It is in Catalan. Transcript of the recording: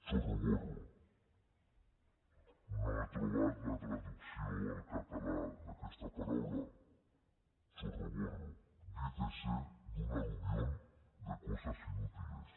chorroborro no he trobat la traducció al català d’aquesta paraula chorroborro dícese de un aluvión de cosas inútiles